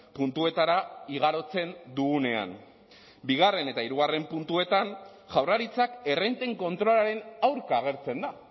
puntuetara igarotzen dugunean bigarren eta hirugarren puntuetan jaurlaritzak errenten kontrolaren aurka agertzen da